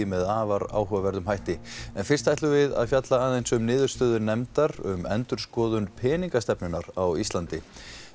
með afar áhugaverðum hætti en fyrst ætlum við að fjalla aðeins um niðurstöðu nefndar um endurskoðun peningastefnunnar á Íslandi